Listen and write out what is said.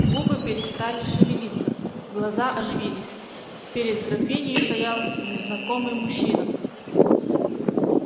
губы перестали шевелиться глаза оживились перед графинею стоял незнакомый мужчина